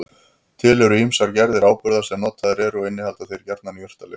Til eru ýmsar gerðir áburða sem notaðir eru og innihalda þeir gjarnan jurtalyf.